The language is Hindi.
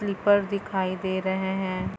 क्लिपर दिखाई दे रहै हैं।